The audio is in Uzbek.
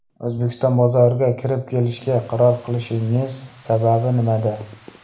O‘zbekiston bozoriga kirib kelishga qaror qilishingiz sababi nimada?